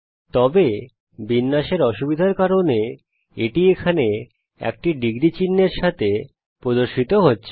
তবে বিন্যাসের অসুবিধার কারণে এটি এখানে একটি ডিগ্রী চিহ্নের সাথে প্রদর্শিত হচ্ছে